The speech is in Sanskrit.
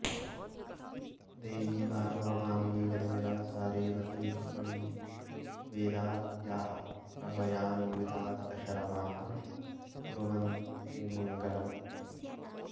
देवी भार्गवभामिनी जनकजा सा रेवती रुक्मिणी वेदाद्याःप्रभयान्विता दश रमाः कुर्वन्तु नो मङ्गलम्